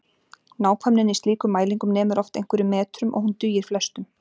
Nákvæmnin í slíkum mælingum nemur oft einhverjum metrum og hún dugir flestum.